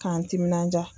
K'an timinanja